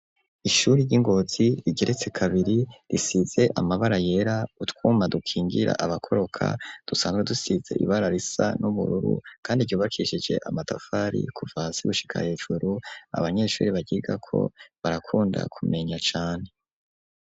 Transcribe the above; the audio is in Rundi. ishuri ry'ingozi , rigeretse kabiri , risize amabara yera , utwuma dukingira abakoroka, dusanzwe dusize ibara risa n'ubururu , kandi ryubakishije amatafari kuva hasi gushika hejuru , abanyeshuri baryigako barakunda kumenya cane.